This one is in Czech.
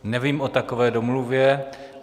Nevím o takové domluvě.